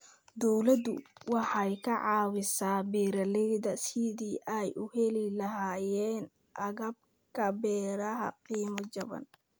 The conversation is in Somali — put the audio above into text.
Dawladdu waxay ka caawisaa beeralayda sidii ay u heli lahaayeen agabka beeraha qiimo jaban.